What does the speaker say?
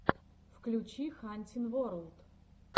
включи хантин ворлд